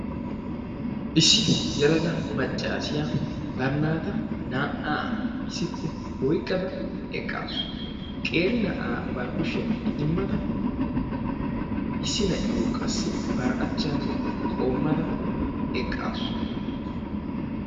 Issi yelaga maccaasiya bari naataa naa''aa issippe oyqqada eqqaasu. Qeeri na'aa bari kushiyan idimmada, issi na'iyo qassi bari achchan qoommada eqqaasu.